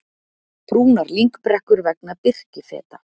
Brúnar lyngbrekkur vegna birkifeta